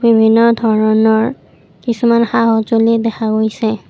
বিভিন্ন ধৰণৰ কিছুমান সা সজুঁলি দেখা গৈছে।